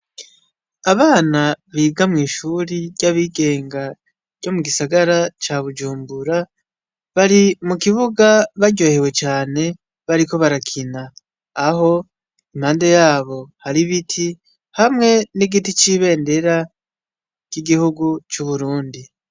Abana biga mw'ishure ry'abigenga ryo mugisagara ca bujumbura bari mukibuga baryohewe cane bariko barakina, aho impande yabo har'ibiti hamwe n'igiti c'ibendera ry'igihugu c'uburundi.